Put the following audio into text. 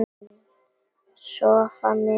Sofa mikið.